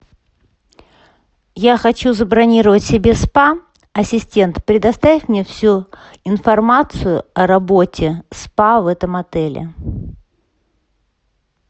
я хочу забронировать себе спа ассистент предоставь мне всю информацию о работе спа в этом отеле